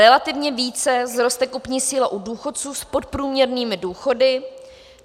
Relativně více vzroste kupní síla u důchodců s podprůměrnými důchody.